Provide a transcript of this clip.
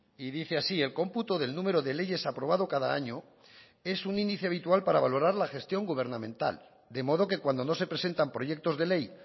y dice así el cómputo del número de leyes aprobado cada año es un índice habitual para valorar la gestión gubernamental de modo que cuando no se presentan proyectos de ley